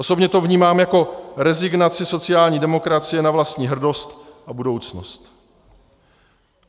Osobně to vnímám jako rezignaci sociální demokracie na vlastní hrdost a budoucnost.